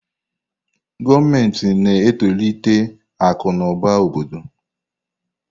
Gọọmenti na-etolite akụ na ụba obodo.